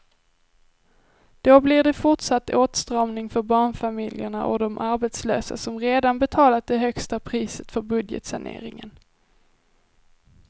Då blir det fortsatt åtstramning för barnfamiljerna och de arbetslösa som redan betalat det högsta priset för budgetsaneringen.